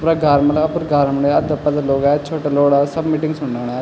अपरा घार मलब अपर घार म लयां अधा पधा लोग अयां छोटा लोग अयां सब मीटिंग सुड़णुन अयां।